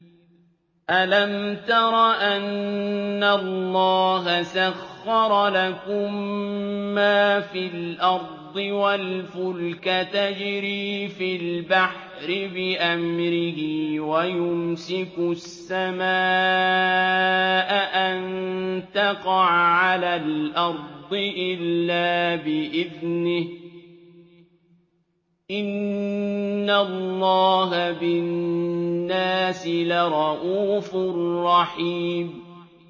أَلَمْ تَرَ أَنَّ اللَّهَ سَخَّرَ لَكُم مَّا فِي الْأَرْضِ وَالْفُلْكَ تَجْرِي فِي الْبَحْرِ بِأَمْرِهِ وَيُمْسِكُ السَّمَاءَ أَن تَقَعَ عَلَى الْأَرْضِ إِلَّا بِإِذْنِهِ ۗ إِنَّ اللَّهَ بِالنَّاسِ لَرَءُوفٌ رَّحِيمٌ